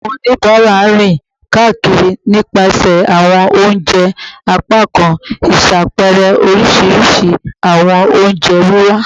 Awon onibara rin kakiri nipasẹ awọn ounje apakan, iṣapẹẹrẹ orisirisi awọn onjewiwa